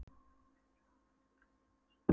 Fjötruðu Haðar hendur, huldust lönd og strendur.